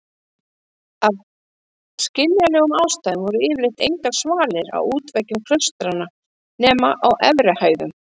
Af skiljanlegum ástæðum voru yfirleitt engar svalir á útveggjum klaustranna nema á efri hæðum.